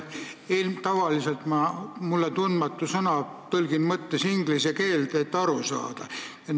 Tavaliselt ma tõlgin mulle tundmatu sõna mõttes inglise keelde, et aru saada.